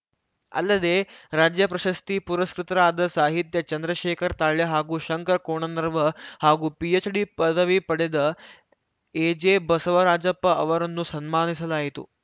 ಅಲ್ಲದೆ ರಾಜ್ಯ ಪ್ರಶಸ್ತಿ ಪುರಸ್ಕೃತರಾದ ಸಾಹಿತ್ಯ ಚಂದ್ರಶೇಖರ ತಾಳ್ಯ ಹಾಗೂ ಶಂಕರ್‌ ಕೋಣನರ್ವ ಹಾಗೂ ಪಿಎಚ್‌ಡಿ ಪದವಿ ಪಡೆದ ಎಜೆಬಸವರಾಜಪ್ಪ ಅವರನ್ನು ಸನ್ಮಾನಿಸಲಾಯಿತು